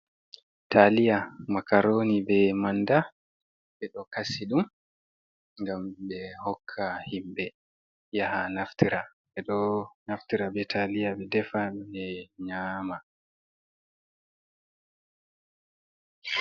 Taliya makaroni ɓe manɗa. Ɓe ɗo kasi ɗum, ngam ɓe hokka himɓe yaha naftira. Ɓe ɗo naftira ɓe taliya ɓe ɗefan ɓe nyaama.